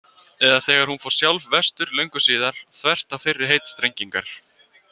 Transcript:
Eða þegar hún fór sjálf vestur löngu síðar, þvert á fyrri heitstrengingar.